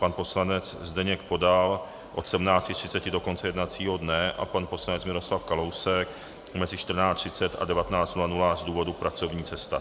Pan poslanec Zdeněk Podal od 17.30 do konce jednacího dne a pan poslanec Miroslav Kalousek mezi 14.30 a 19.00 z důvodu pracovní cesty.